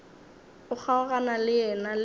o kgaogana le yena le